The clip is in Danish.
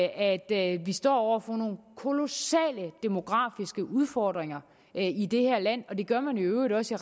at vi står over for nogle kolossale demografiske udfordringer i det her land og det gør man i øvrigt også